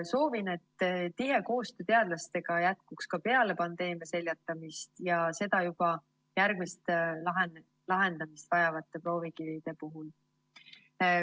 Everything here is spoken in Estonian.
Soovin, et tihe koostöö teadlastega jätkuks ka peale pandeemia seljatamist ja seda juba järgmiste proovikivide puhul.